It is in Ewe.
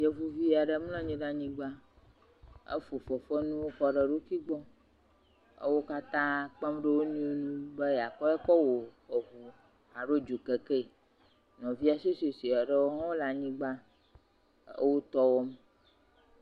Yevuvi aɖe mlɔ anyi ɖe anyigba. Efo fefe fenuwo kɔ ɖe eɖokui gbɔ. Ewo katã kpem ɖe wonuiwo ŋu be yeakoe kɔ wɔ ŋu alo dzokeke. Nɔvia suesuesue ɖewo hã le anyigba e wotɔ wɔm.